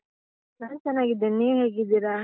ನಾನ್ ಚೆನ್ನಾಗಿದ್ದೇನೆ, ನೀವು ಹೇಗಿದ್ದೀರಾ?